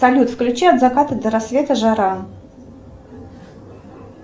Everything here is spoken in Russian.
салют включи от заката до рассвета жара